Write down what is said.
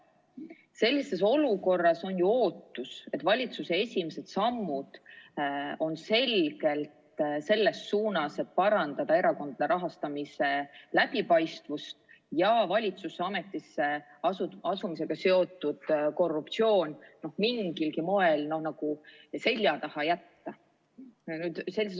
Sellises olukorras on ju ootus, et valitsuse esimesed sammud on selgelt selles suunas, et parandada erakondade rahastamise läbipaistvust ja valitsuse ametisse asumisega seotud korruptsioon mingilgi moel nagu selja taha jätta.